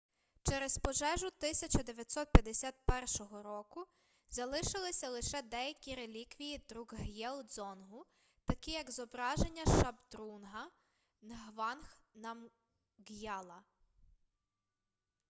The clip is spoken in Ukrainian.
через пожежу 1951-го року залишилися лише деякі реліквії друкг'єл-дзонгу такі як зображення шабдрунга нгванг намґ'яла